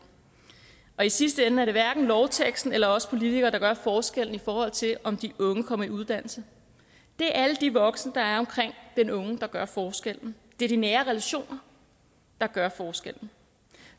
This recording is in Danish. og i sidste ende er det hverken lovteksten eller os politikere der gør forskellen i forhold til om de unge kommer i uddannelse det er alle de voksne der er omkring den unge der gør forskellen det er de nære relationer der gør forskellen